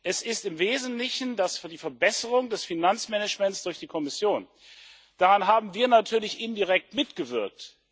Es ist im Wesentlichen die Verbesserung des Finanzmanagements durch die Kommission. Daran haben wir natürlich indirekt mitgewirkt.